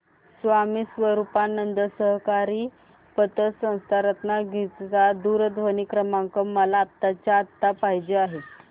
स्वामी स्वरूपानंद सहकारी पतसंस्था रत्नागिरी चा दूरध्वनी क्रमांक मला आत्ताच्या आता पाहिजे आहे